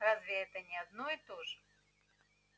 разве это не одно и то же